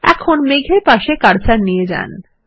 এখন মেঘ এর পাশে কার্সার নিয়ে যান